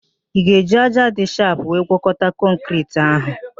Ị ga-eji ájá dị shapụ were gwọkọta kọnkịriti ahụ?